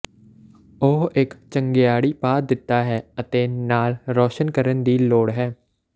ਉਹ ਇੱਕ ਚੰਗਿਆੜੀ ਪਾ ਦਿੱਤਾ ਹੈ ਅਤੇ ਨਾਲ ਰੋਸ਼ਨ ਕਰਨ ਦੀ ਲੋੜ ਹੈ